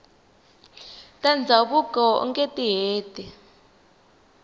ta ndhavuko ungeti heti